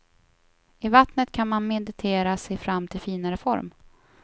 I vattnet kan man meditera sig fram till finare form.